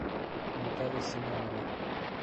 наталья семенова